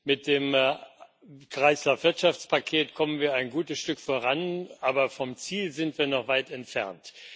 Mit dem Kreislaufwirtschaftspaket kommen wir ein gutes Stück voran, aber vom Ziel sind wir noch weit entfernt.